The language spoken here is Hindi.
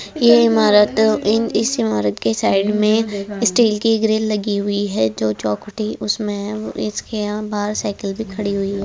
ये इमारत इन इस इमारत के साइड में स्टील की ग्रिल लगी हुई है जो चोखटी उसमे है इसके यहाँ बाहर साइकिल भी खड़ी हुई है।